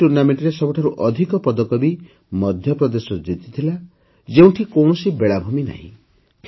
ଏହି tournamentରେ ସବୁଠାରୁ ଅଧିକ ପଦକ ବି ମଧ୍ୟପ୍ରଦେଶ ଜିତିଥିଲା ଯେଉଁଠି କୌଣସି ବେଳାଭୂମି ନାହିଁ